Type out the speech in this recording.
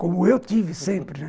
Como eu tive sempre, né?